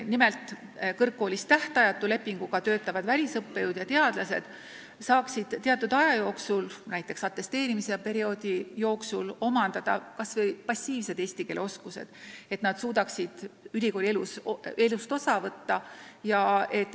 Nimelt, kõrgkoolis tähtajatu lepinguga töötavad välisõppejõud ja teadlased võiksid saada teatud aja jooksul, näiteks atesteerimise perioodi jooksul, omandada kas või passiivse eesti keele oskuse, et nad suudaksid ülikooli elust osa võtta.